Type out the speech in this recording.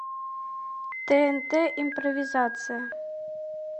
тнт импровизация